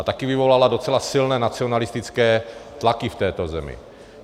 A taky vyvolala docela silné nacionalistické tlaky v této zemi.